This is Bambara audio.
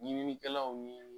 Ɲininikɛlaw ye